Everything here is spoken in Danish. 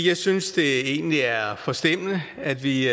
jeg synes det egentlig er forstemmende at vi